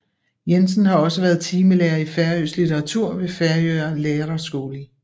Jensen har også været timelærer i færøsk litteratur ved Føroya Læraraskúli